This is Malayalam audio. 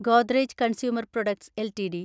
Godrej consumer products LTD